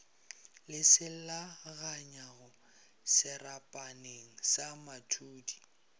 le selaganyago serapaneng sa mathudi